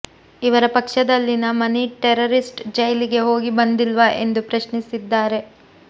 ಇವರ ಪಕ್ಷದಲ್ಲಿನ ಮನಿ ಟೆರರಿಸ್ಟ್ ಜೈಲಿಗೆ ಹೋಗಿ ಬಂದಿಲ್ವಾ ಎಂದು ಪ್ರಶ್ನಿಸಿದ್ದಾರೆ